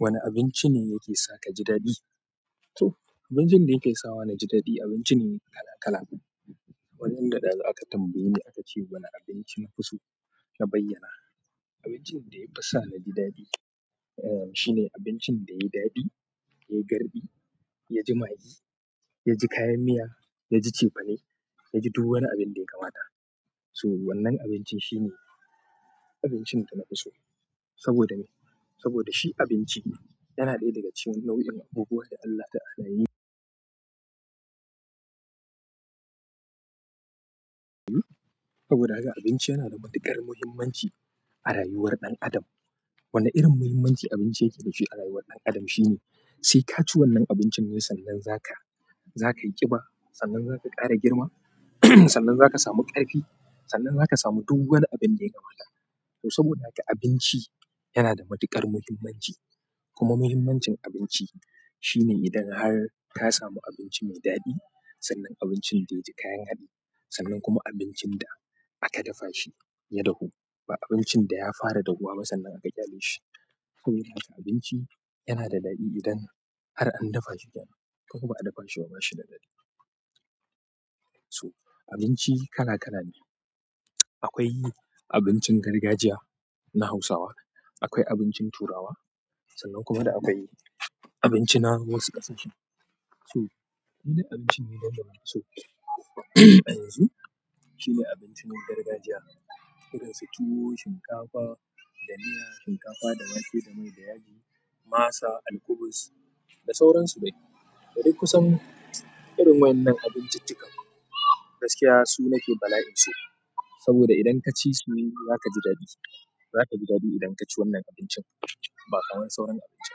Wane abinci ne yake sa ka ji daɗi? To abincin da yake sawa naji daɗi abincin kala kala. Wannan da ɗazu aka tambaye ni aka ce wane abinci na fi so na bayyana. Abincin da ya fi sa na ji daɗi, eh shine abincin da yayi daɗi, yayi garɗi, yaji magi, yaji kayan miya, yaji cefane, yaji duk wani abin da ya kamata. To wannan abincin shine abincin da na fi so saboda me? Saboda shi abinci yana ɗaya daga cikin nau'in abubuwan da Allah ta adaini. Saboda haka abinci yana da matuƙar muhimmanci a rayuwar ɗan adam. Wane irin muhimmanci abinci yake da shi a rayuwar ɗan adam shine sai ka ci wannan abincin ne sannan zaka, zaka yi ƙiba, sannan zaka ƙara girma, sannan zaka samu ƙarfi, sannan zaka samu duk wani abin da ya kamata. To saboda haka abinci yana da matuƙar mahimmanci kuma mahimmancin abinci shine idan har ka samu abinci mai daɗi sannan abincin da yaji kayan haɗi sannan kuma abincin da aka dafa shi ya dahu ba abincin da ya fara dahu ba sannan aka ƙyale shi. Saboda haka abinci yana da daɗi idan har an dafa shi gyara ko ba a dafa shi ba bashi da daɗi. So abinci kala kala ne. Akwai abincin gargajiya na hausawa, akwai abincin turawa sannan kuma da akwai abinci na wasu ƙasashe. So idan abinci ne don da na so yanzu shine abincin gargajiya irin su tuwo, shinkafa da miya, shinkafa da wake da mai da yaji, masa, alkubus da sauran su dai. Da duk kusan irin wannan abinciccikan gaskiya su nake bala'in so saboda idan ka ci su zaka ji daɗi. Zaka ji daɗi idan ka ci wannan abincin ba kaman sauran abinci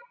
ba.